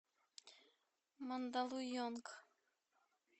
мандалуйонг